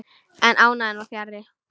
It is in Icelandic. En ánægjan var fjarri.